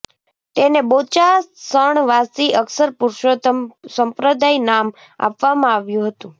તેને બોચાસણવાસી અક્ષર પુરુષોત્તમ સંપ્રદાય નામ આપવામાં આવ્યું હતું